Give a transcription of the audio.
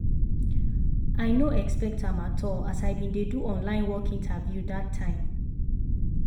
i no expect am at all as i been dey do online work interview that time.